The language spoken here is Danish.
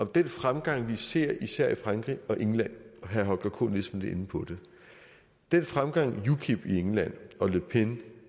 den fremgang vi ser især i frankrig og england herre holger k nielsen inde på det den fremgang ukip i england og le pen